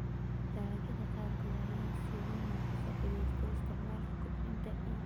Dalagyada qaarkood ayaa si weyn uga faa'iideysta isticmaalka kobcinta ciidda.